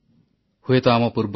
ମୋର ପ୍ରିୟ ଦେଶବାସୀଗଣ ନମସ୍କାର